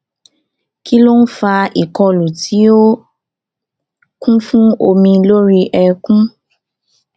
kí ló ń fa ìkọlù tí ó kún fún omi lórí eékún